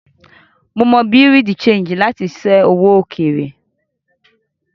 Mo máa ń Bureau de Change láti ṣé owó òkèèrè.